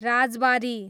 Rajbari